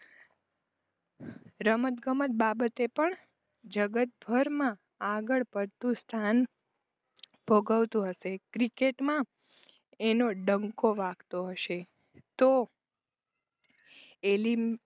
રમતગમત બાબતે પણ જગતભરમાં આગળપડતું સ્થાન ભોગવતું હશે ક્રિકેટમાં એનો ડંકો વાગતો હશે તો